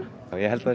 já ég held að það